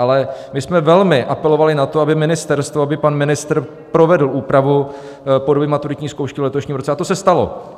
Ale my jsme velmi apelovali na to, aby ministerstvo, aby pan ministr provedl úpravu podoby maturitní zkoušky v letošním roce, a to se stalo.